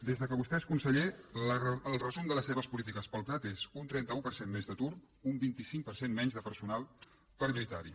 des que vostè és conseller el resum de les seves polítiques per al prat és un trenta un per cent més d’atur un vint cinc per cent menys de personal per lluitar hi